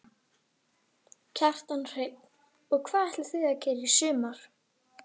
Kjartan Hreinn: Og hvað ætlið þið að gera í sumar?